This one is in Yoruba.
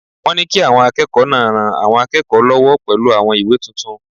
Wọ́n ní kí àwọn akẹ́kọ̀ọ́ náà ran àwọn akẹ́kọ̀ọ́ lọ́wọ́ pẹ̀lú àwọn ìwé tuntun